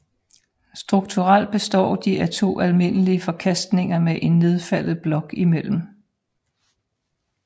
Strukturelt består de af to almindelige forkastninger med en nedfaldet blok imellem